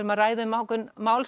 að ræða um ákveðin mál